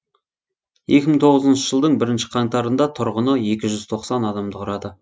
екі мың тоғызыншы жылдың бірінші қаңтарында тұрғыны екі жүз тоқсан адамды құрады